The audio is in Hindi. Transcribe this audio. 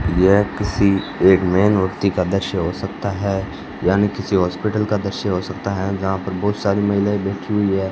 यह किसी एक में मूर्ति का दृश्य हो सकता है यानी किसी हॉस्पिटल का दृश्य हो सकता है जहां पर बहुत सारी महिलाएं बैठी हुई है।